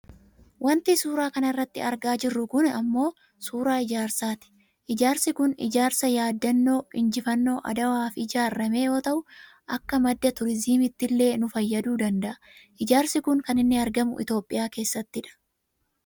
Wanti suuraa kanarratti argaa jiru kunii ammoo suuraa ijaarsaati. Ijaarsi kun ijaarsa yaaddannoo Injifannoo Adawaaf ijaarrame yoo ta'u akka madda turizimiittillee nu fayyaduu danda'a . Ijaarsi kun kan inni argamu Itoopiyaa keessattidha.